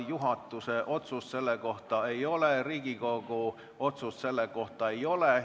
Juhatuse otsust selle kohta ei ole, Riigikogu otsust selle kohta ei ole.